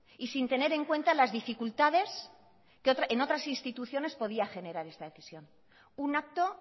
y sin tener en cuenta las dificultades que en otras instituciones podían generar esta decisión un acto